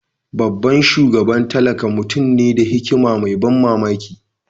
Babban shugaba tallakan mutum ne da hikima mai ban mamaki.